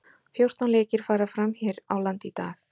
Fjórtán leikir fara fram hér á landi í dag.